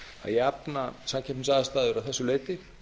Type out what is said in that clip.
jafna samkeppnisaðstæður að þessu leyti